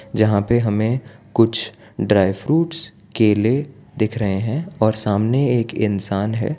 जहां पर हमें कुछ ड्राई फ्रूट्स केले दिख रहे हैं और सामने एक इंसान है।